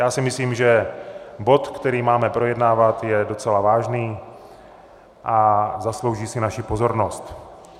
Já si myslím, že bod, který máme projednávat, je docela vážný a zaslouží si naši pozornost.